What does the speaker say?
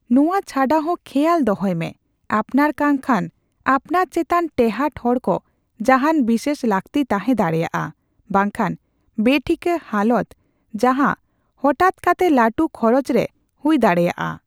ᱱᱚᱣᱟ ᱪᱷᱟᱰᱟ ᱦᱚᱸ, ᱠᱷᱮᱭᱟᱞ ᱫᱚᱦᱚᱠᱟᱢ ᱡᱮ, ᱟᱯᱱᱟᱨ ᱠᱟᱝᱠᱷᱟᱱ ᱟᱯᱱᱟᱨ ᱪᱮᱛᱟᱱ ᱴᱮᱦᱟᱸᱴ ᱦᱚᱲᱠᱚ ᱡᱟᱦᱟᱸᱱ ᱵᱤᱥᱮᱥ ᱞᱟᱹᱠᱛᱤ ᱛᱟᱦᱮᱸ ᱫᱟᱲᱮᱭᱟᱜᱼᱟ ᱵᱟᱝᱠᱷᱟᱱ ᱵᱮᱼᱴᱷᱤᱠᱟᱹ ᱦᱟᱞᱚᱛ ᱡᱟᱦᱟᱸ ᱦᱚᱴᱟᱛ ᱠᱟᱛᱮ ᱞᱟᱹᱴᱩ ᱠᱷᱚᱨᱚᱪ ᱨᱮ ᱦᱩᱭ ᱫᱟᱲᱮᱭᱟᱜᱼᱟ ᱾